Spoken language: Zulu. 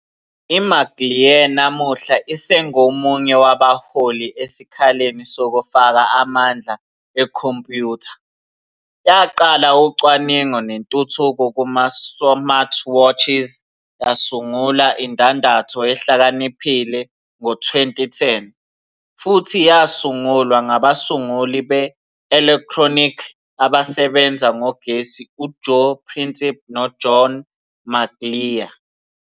IMcLear, namuhla isengomunye wabaholi esikhaleni sokufaka amandla ekhompiyutha, yaqala ucwaningo nentuthuko kuma-smartwatches yasungula indandatho ehlakaniphile ngo-2010, futhi yasungulwa ngabasunguli be-elekthronikhi abasebenza ngogesi uJoe Prencipe noJohn McLear.